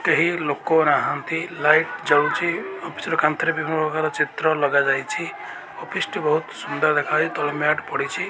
କେହି ଲୋକ ନାହାଁନ୍ତି ଲାଇଟ୍ ଜଳୁଚି ଅଫିସ୍ ର କାନ୍ଥରେ ବିଭିନ୍ନପ୍ରକାର ଚିତ୍ର ଲଗାଯାଇଚି ଅଫିସ୍ ଟି ବହୁତ୍ ସୁନ୍ଦର୍ ଦେଖା ଯାଉଚି ତଳେ ମ୍ୟାଟ ପଡ଼ିଚି।